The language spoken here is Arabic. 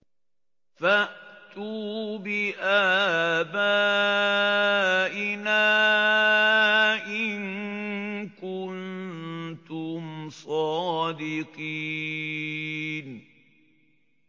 فَأْتُوا بِآبَائِنَا إِن كُنتُمْ صَادِقِينَ